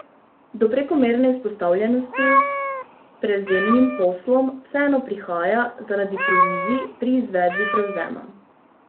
Do prekomerne izpostavljenosti prevzemnim poslom vseeno prihaja zaradi provizij pri izvedbi prevzema.